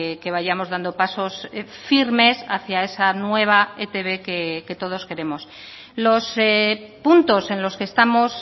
que vayamos dando pasos firmes hacía esa nueva etb que todos queremos los puntos en los que estamos